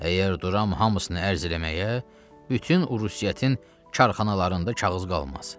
Əgər duram hamısını ərz eləməyə, bütün Uruusiyyətin karxanalarında kağız qalmaz.